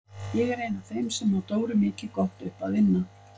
Ég er ein af þeim sem á Dóru mikið gott upp að inna.